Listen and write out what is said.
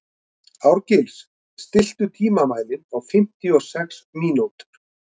Árgils, stilltu tímamælinn á fimmtíu og sex mínútur.